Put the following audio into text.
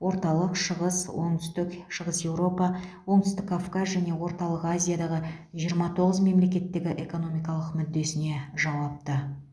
орталық шығыс оңтүстік шығыс еуропа оңтүстік кавказ және орталық азиядағы жиырма тоғыз мемлекеттегі экономикалық мүддесіне жауапты